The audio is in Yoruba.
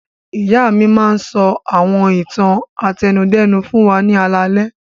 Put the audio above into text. Ìyá mi máa ń sọ àwọn ìtàn àtẹnudẹ́nu fún wa ní alaalẹ́.